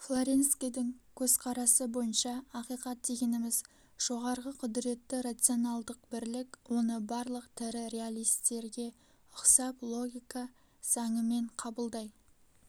флоренскийдің көзқарасы бойынша ақиқат дегеніміз жоғарғы құдіретті рационалдық бірлік оны барлық тірі реалистерге ұқсап логика заңымен қабылдай